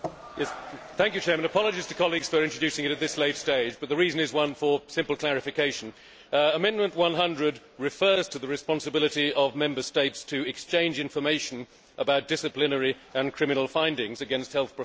Mr President, apologies to colleagues for introducing it at this late stage, but the reason is one of simple clarification. Amendment 100 refers to the responsibility of Member States to exchange information about disciplinary and criminal findings against health professionals.